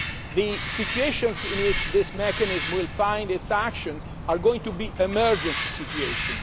works. The situations in which this mechanism will be used are going to be emergency situations.